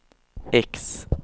X